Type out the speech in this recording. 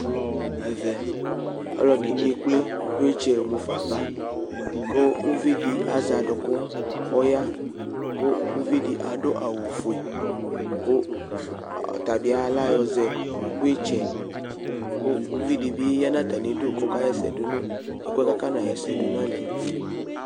Ɛvɛ ɔlɔdɩ ekple flɛsɛ mufa ava, kʋ uvi di azɛ aduku kʋ ɔya Kʋ uvi di adu awufue, kʋ ɔtabɩ layɔzɛ nʋ idza yɛ Kʋ uvi di bɩ ya nʋ atamɩdʋ kʋ ɔkaɣɛsɛ du nʋ ɛkʋɛ kʋ akɔna ɣɛsɛ dʋ nʋ ayili yɛ